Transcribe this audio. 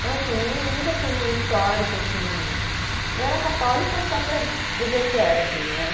Então, assim, eu não nunca tive um histórico, assim. Eu era católica só para dizer que era, assim, né?